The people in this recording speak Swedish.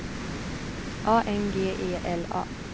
A N G E L A